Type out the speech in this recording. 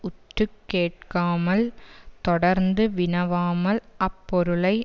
உற்று கேட்காமல் தொடர்ந்து வினவாமல் அப்பொருளை